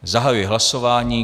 Zahajuji hlasování.